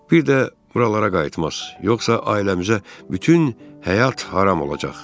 Bir də buralara qayıtmaz, yoxsa ailəmizə bütün həyat haram olacaq.